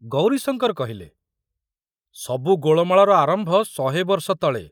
ଗୌରୀଶଙ୍କର କହିଲେ, ସବୁ ଗୋଳମାଳର ଆରମ୍ଭ ଶହେ ବର୍ଷ ତଳେ।